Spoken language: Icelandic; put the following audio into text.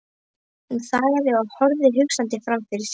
Hún þagnaði og horfði hugsandi framfyrir sig.